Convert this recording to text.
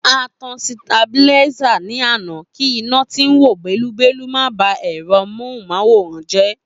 A tan sitabiláísà ní àná kí iná tí ń wò bẹ́lúbẹ́lú má ba ẹ̀rọ móhùn máwòrán jẹ́